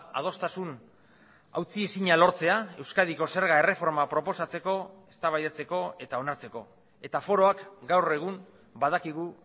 adostasun hautsi ezina lortzea euskadiko zerga erreforma proposatzeko eztabaidatzeko eta onartzeko eta foroak gaur egun badakigu